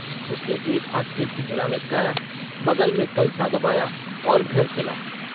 उसने एक हाथ में पिंजड़ा लटकाया बगल में कलसा दबाया और घर चला।